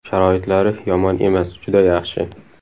Sharoitlari yomon emas, juda yaxshi.